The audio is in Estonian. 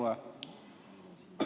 Kas ma saan õigesti aru?